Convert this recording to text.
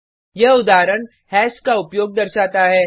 यह उदाहरण हैश का उपयोग दर्शाता है